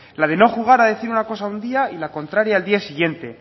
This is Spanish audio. la de no jugar a decir una cosa un día y la contraria al día siguiente